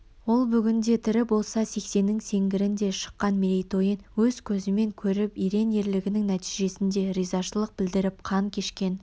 ол бүгінде тірі болса сексеннің сеңгіріне шыққан мерейтойын өз көзімен көріп ерен ерлігінің нәтижесіне ризашылық білдіріп қан қешкен